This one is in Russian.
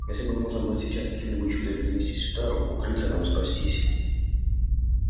если бы можно было сейчас каким-нибудь чудом перенестись в тару укрыться там спастись